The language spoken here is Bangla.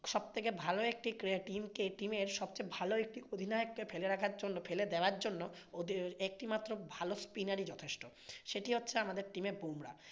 সবচেয়ে ভালো একটি টিমকে team এর সবচেয়ে ভালো একটি অধিনায়ককে ফেলে রাখার জন্য, ফেলে দেওয়ার জন্য ওদের একটি মাত্র ভালো spinner ই যথেষ্ট। সেটি হচ্ছে আমাদের team এ বুমরাহ।